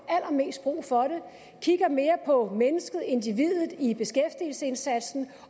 allermest brug for det kigger mere på mennesket individet i beskæftigelsesindsatsen